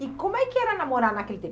E como é que era namorar naquele tempo?